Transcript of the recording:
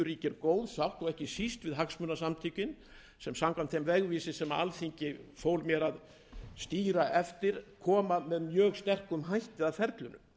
ríkir góð sátt ekki síst við hagsmunasamtökin sem samkvæmt þeim vegvísi sem alþingi fól mér að stýra eftir koma mjög sterkt að ferlinu